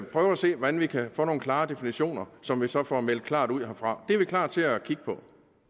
prøve at se hvordan vi kan få nogle klare definitioner som vi så får meldt klart ud herfra det er vi klar til at kigge på